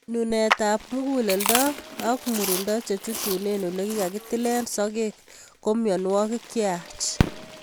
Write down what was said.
Nunetab mukuleldo ak komurindo chechutunen olekikatilen sokek ko mionwokik cheyach.